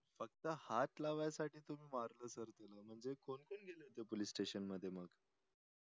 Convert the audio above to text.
फक्त हात लावायसाठी तुम्ही मारलं sir त्याला म्हणजे कोण कोण गेले होते police station मग